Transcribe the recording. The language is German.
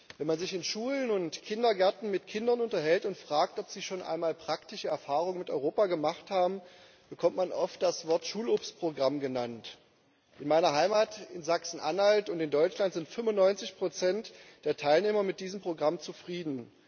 Wenn man sich in Schulen und Kindergärten mit Kindern unterhält und fragt, ob sie schon einmal praktische Erfahrungen mit Europa gemacht haben, bekommt man oft das Wort Schulobstprogramm genannt. In meiner Heimat, in Sachsen Anhalt, und in Deutschland sind 95 der Teilnehmer mit diesem Programm zufrieden.